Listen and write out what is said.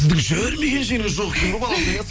сіздің жүрмеген жеріңіз жоқ екен ғой балауса